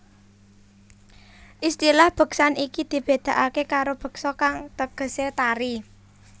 Istilah beksan iki dibedakake karo beksa kang tegese tari